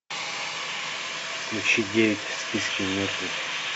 включи девять в списке мертвых